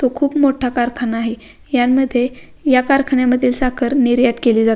तो खूप मोठा कारखाना आहे यामध्ये या कारखान्यामध्ये साखर निर्यात केली जा --